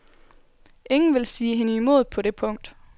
Ingen vil sige hende imod på det punkt.